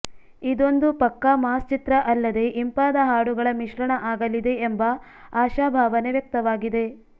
ಇದೊಂದು ಪಕ್ಕಾ ಮಾಸ್ ಚಿತ್ರ ಅಲ್ಲದೆ ಇಂಪಾದ ಹಾಡುಗಳ ಮಿಶ್ರಣ ಆಗಲಿದೆ ಎಂಬ ಆಶಾಭಾವನೆ ವ್ಯಕ್ತವಾಗಿದೆ